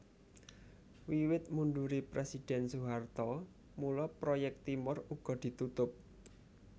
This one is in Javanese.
Wiwit mundure Presiden Soeharto mula proyek Timor uga ditutup